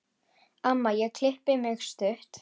Amma ég klippi mig stutt.